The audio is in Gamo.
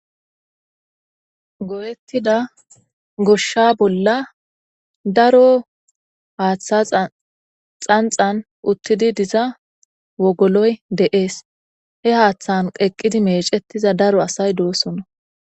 Goyetida goshsha bolla daro haatha xanththan uttidi diza wogoloy de'esi. He haththan eqqidi meeceza daro asayi doosonna.